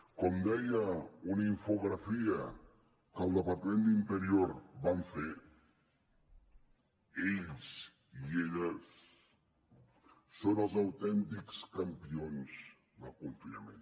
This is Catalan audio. com deia una infografia que al departament d’interior van fer ells i elles són els autèntics campions del confinament